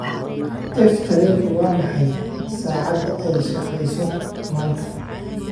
f tareenka waa maxay saacadda ay shaqeyso maanta